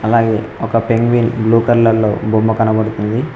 అలాగే ఒక penguin blue colour లో బొమ్మ కనపడుతుంది.